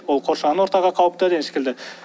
ол қоршаған ортаға қауіпті деген секілді